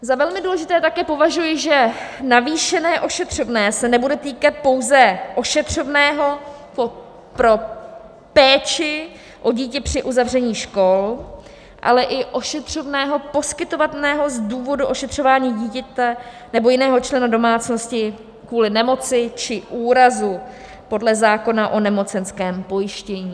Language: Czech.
Za velmi důležité také považuji, že navýšené ošetřovné se nebude týkat pouze ošetřovného pro péči o dítě při uzavření škol, ale i ošetřovného poskytovaného z důvodu ošetřování dítěte nebo jiného člena domácnosti kvůli nemoci či úrazu podle zákona o nemocenském pojištění.